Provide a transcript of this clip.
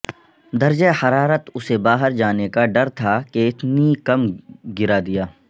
درجہ حرارت اسے باہر جانے کا ڈر تھا کہ اتنی کم گرا دیا